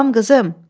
Salam qızım.